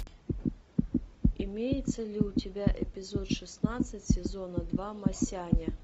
имеется ли у тебя эпизод шестнадцать сезона два масяня